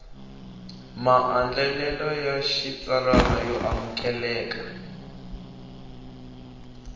maandlalelo ya xitsalwana yo amukelekaka